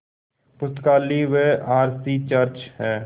पुस्तकालय व R C church हैं